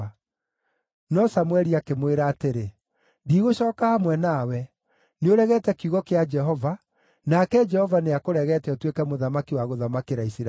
No Samũeli akĩmwĩra atĩrĩ, “Ndigũcooka hamwe nawe. Nĩũregete kiugo kĩa Jehova, nake Jehova nĩakũregete ũtuĩke mũthamaki wa gũthamakĩra Isiraeli!”